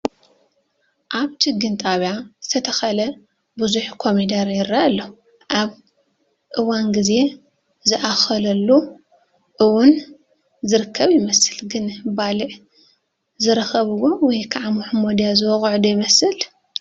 ኣብ ችግኝ ጣብያ ዝተተኸለ ብዙሕ ኮሚደረ ይራኣይ ኣሎ፡፡ ኣብ እዋን ዚዜ ዝኣኽለሉ ውን ዝርከብ ይመስል፣ ግን ባልዕ ዝረኽብዎ ወይ ከዓ ሞሖሞድያ ዝወቕዖ ዶ ይመስል?